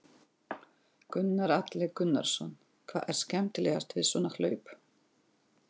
Gunnar Atli Gunnarsson: Hvað er skemmtilegast við svona hlaup?